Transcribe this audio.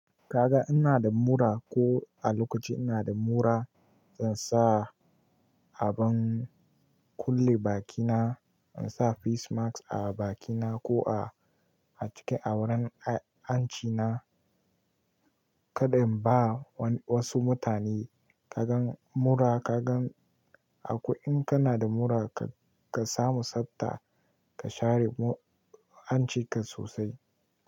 Ka ga ina da mura ko a lokaci ina da mura, zan sa abin kulle bakina, in sa face mask a bakina ko a ciki a wurin a-anci na kadai. Ba wasu mutane ka gan mura, ka gan a kwai, in kana da mura ka samu sanda ka share hancinka sosai.